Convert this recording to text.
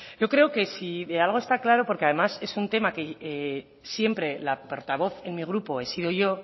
yo creo que si de algo está claro porque además es un tema que siempre la portavoz en mi grupo he sido yo